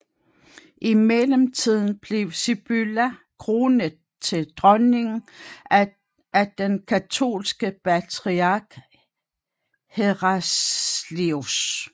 I mellemtiden blev Sibylla kronet til dronning af den katolske patriark Heraclius